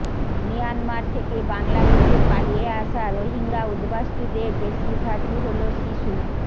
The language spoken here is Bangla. মিয়ানমার থেকে বাংলাদেশে পালিয়ে আসা রোহিঙ্গা উদ্বাস্তুদের বেশিরভাগই হল শিশু